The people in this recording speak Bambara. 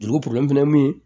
Juru fɛnɛ min